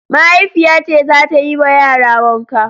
Mahaifiya ce za ta yi ma yara wanka.